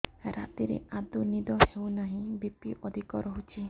ରାତିରେ ଆଦୌ ନିଦ ହେଉ ନାହିଁ ବି.ପି ଅଧିକ ରହୁଛି